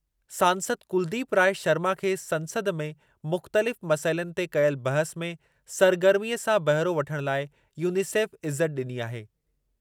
सांसद कुलदीप राय शर्मा खे संसद में मुख़्तलिफ़ मसइलनि ते कयल बहसु में सरगर्मीअ सां बहिरो वठणु लाइ यूनिसेफ इज़त ॾिनी आहे।